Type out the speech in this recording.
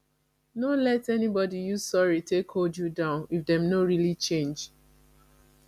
no let anybody use sorry take hold you down if dem no really change